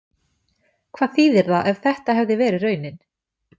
Hvað þýðir það ef þetta hefði verið raunin?